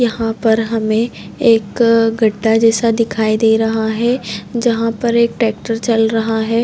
यहाँ पर हमे एक अ गढ्ढा जैसा दिखाई दे रहा है जहाँ पर एक ट्रेक्टर चल रहा है।